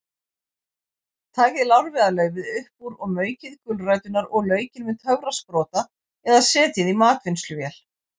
Takið lárviðarlaufið upp úr og maukið gulræturnar og laukinn með töfrasprota eða setjið í matvinnsluvél.